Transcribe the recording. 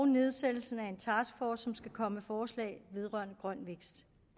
nedsættelsen af en taskforce som skal komme med forslag vedrørende grøn vækst